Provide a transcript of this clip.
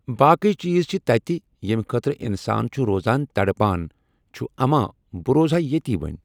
باقٕے چیٖز چھِ تتہِ یِم خٲطرٕ انسان چھُ روزان تڑپان چھُ اما بہٕ روزٕ ہا ییٚتی وۄنۍ۔